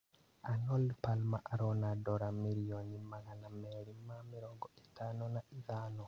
Arnold Palmer arona dora mirioni magana merĩ ma mĩrongo ĩtano na ithano